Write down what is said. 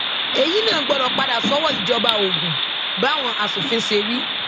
èyí náà gbọdọ padà sọwọ ìjọba ogun báwọn asòfin ṣe wí